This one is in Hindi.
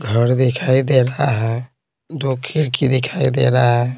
घर दिखाई दे रहा है दो खिड़की दिखाई दे रहा --